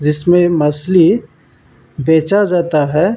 जिसमे मछली बेचा जाता है।